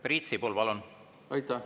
Priit Sibul, palun!